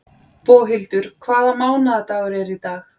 Boghildur, hvaða mánaðardagur er í dag?